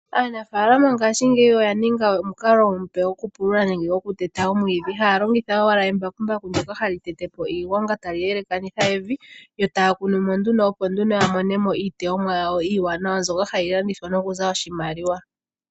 Aanafalama ngashingeyi oya ninga omukalo omupe gwokupulula nenge gwokuteta omwiidhi, haya longitha owala embakumbaku ndjoka hali tete po iigwanga, tali halakanitha evi, yo taya kunu mo nduno, opo ya mone mo iilikolomwa yawo mbyono iiwananawa hayi landithwa, okuza oshimaliwa.